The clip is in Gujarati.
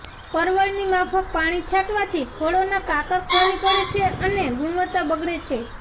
પરવળની માફક પાણી છાંટવાથી ફળોના કાકર ખરી પડે છે અને ગુણવત્તા બગડે છે